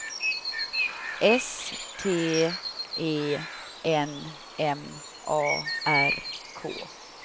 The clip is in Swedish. S T E N M A R K